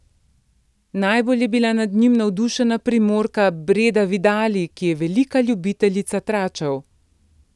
Najbolj je bila nad njim navdušena Primorka Breda Vidali, ki je velika ljubiteljica tračev.